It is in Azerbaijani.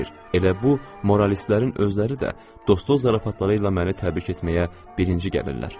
Elə bu moralistlərin özləri də dostluq zarafatları ilə məni təbrik etməyə birinci gəlirlər.